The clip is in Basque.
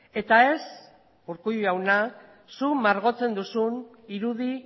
eta ez urkullu jauna zu margotzen duzun irudi